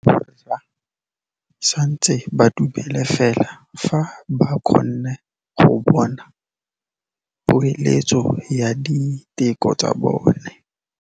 Borra saense ba dumela fela fa ba kgonne go bona poeletsô ya diteko tsa bone.